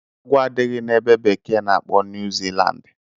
Agwọ adịghị na ebe bekee na-akpo New Zealand.